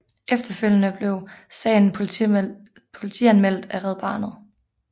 Efterfølgende blev sagen politianmeldt af Red Barnet